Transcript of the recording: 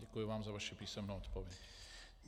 Děkuji vám za vaši písemnou odpověď.